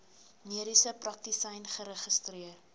mediese praktisyn geregistreer